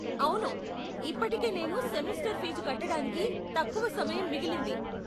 అవును, ఇప్పటికే నేను సెమెస్టర్ ఫీజు కట్టడానికి తక్కువ సమయం మిగిలింది.